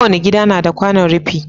Kowani gida nada kwanon rifi